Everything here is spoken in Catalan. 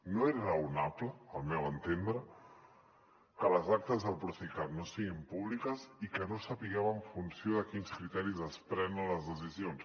no és raonable al meu entendre que les actes del procicat no siguin públiques i que no sapiguem en funció de quins criteris es prenen les decisions